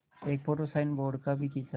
एक photo signboard का भी खींचा